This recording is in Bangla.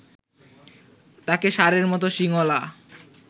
তাকে ষাঁড়ের মত শিংওয়ালা